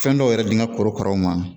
Fɛn dɔw yɛrɛ di n ka korokaraw ma